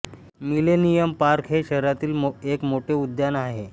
millennium Park हे शहरातील एक मोठे उद्यान आहे